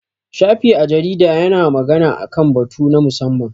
Shafi a jarida ya na magana a kan batu na musamman